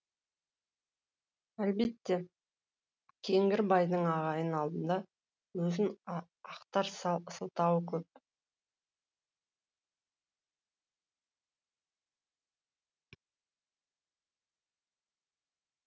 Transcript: әлбетте кеңгірбайдың ағайын алдында өзін ақтар сылтауы көп